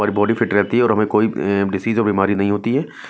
और body fit रहती है और हमें कोई अं बिमारी नहीं होती है।